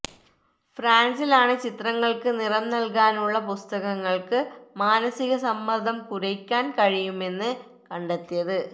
ഫ്രാന്സിലാണ് ചിത്രങ്ങള്ക്ക് നിറം നല്കാനുള്ള പുസ്തകങ്ങള്ക്ക് മാനസിക സമ്മര്ദ്ദം കുറയ്ക്കാന് കഴിയുമെന്ന് കണ്ടെത്തിയത്